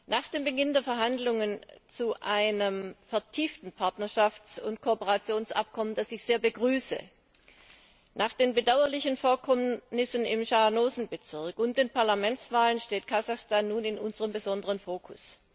Nach dem Beginn der Verhandlungen über ein vertieftes Partnerschafts und Kooperationsabkommen, das ich sehr begrüße, nach den bedauerlichen Vorkommnissen im Schanaosen Bezirk und bei den Parlamentswahlen steht Kasachstan nun in unserem besonderen Fokus.